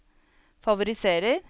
favoriserer